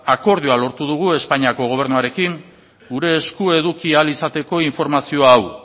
akordioa lortu dugu espainiako gobernuarekin gure esku eduki ahal izateko informazio hau